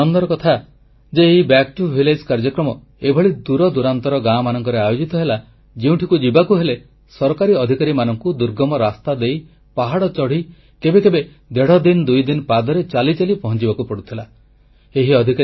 ବଡ଼ ଆନନ୍ଦର କଥା ଯେ ଏହି କାର୍ଯ୍ୟକ୍ରମ ଏଭଳି ଦୂର ଦୂରାନ୍ତର ଗାଁମାନଙ୍କରେ ଆୟୋଜିତ ହେଲା ଯେଉଁଠିକୁ ଯିବାକୁ ହେଲେ ସରକାରୀ ଅଧିକାରୀମାନଙ୍କୁ ଦୁର୍ଗମ ରାସ୍ତାଦେଇ ପାହାଡ଼ ଚଢ଼ି କେବେ କେବେ ଦେଢ଼ଦିନଦୁଇଦିନ ପାଦରେ ଚାଲି ଚାଲି ପହଞ୍ଚିବାକୁ ପଡୁଥିଲା